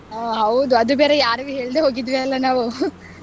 ಹ ಹೌದು ಅದು ಬೇರೆ ಯಾರ್ಗು ಹೇಳ್ದೇ ಹೋಗಿದ್ವಿ ಅಲ್ವ ನಾವು.